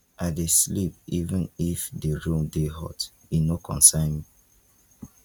i dey sleep even if di room dey hot e no concern me